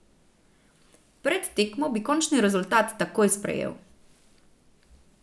Pred tekmo bi končni rezultat takoj sprejel.